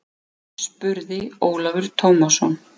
spurði Ólafur Tómasson.